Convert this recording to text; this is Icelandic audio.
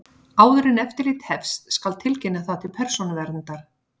Áður en eftirlitið hefst skal tilkynna það til Persónuverndar.